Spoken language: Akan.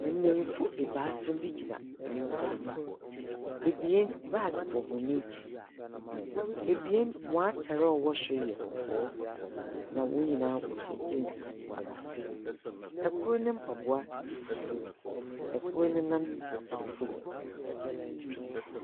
Mbenyinfo ebaasa bi gyinampoano. Ebien, baage bɔ hɔn ekyir. Ebien hɔn atar a ɔwɔ sor yɛ kɔkɔɔ. Na hɔn nyinaa wɔhyɛ geans wɔ ase. Kor ne mpaboa yɛ fufuw. Kor ne nan da fam.